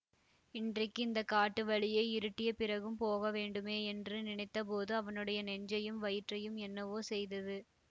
இன்றைக்கு இந்த காட்டு வழியே இருட்டிய பிறகும் போக வேண்டுமே என்று நினைத்த போது அவனுடைய நெஞ்சையும் வயிற்றையும் என்னவோ செய்தது